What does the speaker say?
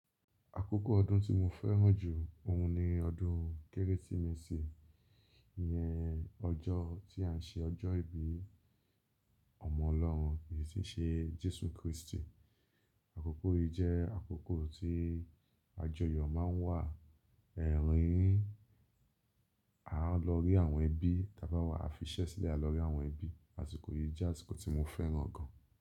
Àkókò ọdún tí mo fẹ́ràn jù ọ̀ún ni ọdún Kérésìmesì. Iyẹn ọjọ́ tí à ń se ọjọ́ ìbí ọmọ ọlọ́run èyí tí ṣe Jésù Kristi. Àkókò yí jẹ́ àkókò tí ajoyọ̀ máa ń wà rí. A lọ rí àwọn ẹbí, tàbí wà á fiṣẹ́ sílẹ̀ a lọ rí àwọn ẹbí. Àsìkò yí jẹ́ àsìkò tí mo fẹ́ràn gan.